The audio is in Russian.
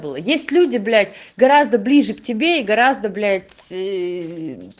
ну есть люди блять гораздо ближе к тебе и гораздо блядь иии